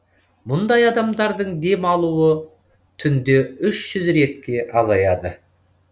мұндай адамдардың дем алуы түнде үш жүз ретке азаяды